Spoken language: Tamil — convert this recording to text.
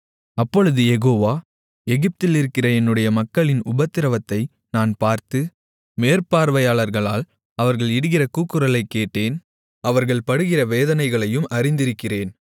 அப்பொழுது யெகோவா எகிப்திலிருக்கிற என்னுடைய மக்களின் உபத்திரவத்தை நான் பார்த்து மேற்பார்வையாளர்களால் அவர்கள் இடுகிற கூக்குரலைக் கேட்டேன் அவர்கள் படுகிற வேதனைகளையும் அறிந்திருக்கிறேன்